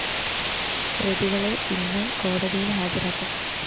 പ്രതികളെ ഇന്ന് കോടതിയില്‍ ഹാജരാക്കും